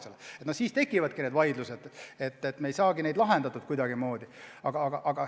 Sel juhul tekivadki vaidlused ja me ei saagi neid kuidagimoodi lahendatud.